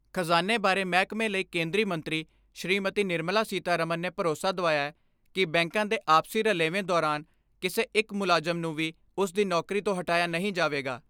ਖਜਾਨੇ ਬਾਰੇ ਮਹਿਕਮੇ ਲਈ ਕੇਂਦਰੀ ਮੰਤਰੀ ਸ਼੍ਰੀਮਤੀ ਨਿਰਮਲਾ ਸੀਤਾਰਮਨ ਨੇ ਭਰੋਸਾ ਦਵਾਇਐ ਕਿ ਬੈਂਕਾਂ ਦੇ ਆਪਸੀ ਰਲੇਵੇਂ ਦੌਰਾਨ ਕਿਸੇ ਇੱਕ ਮੁਲਾਜਮ ਨੂੰ ਵੀ ਉਸ ਦੀ ਨੌਕਰੀ ਤੋਂ ਹਟਾਇਆ ਨਹੀਂ ਜਾਵੇਗਾ।